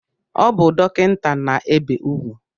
O bu dokinta na-ebe ugwu